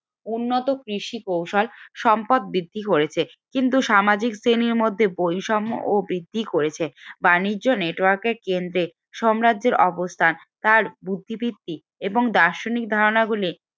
উন্নত কৃষি কৌশল সম্পদ বৃদ্ধি করেছে কিন্তু সামাজিক শ্রেণীর মধ্যে বৈষম্য ও বৃদ্ধি করেছে বাণিজ্য network এর কেন্দ্রে সাম্রাজ্যের অবস্থান তার বুদ্ধিবৃত্তি এবং দার্শনিক ধারণা গুলি